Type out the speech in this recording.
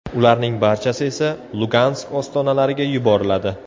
Ularning barchasi esa Lugansk ostonalariga yuboriladi.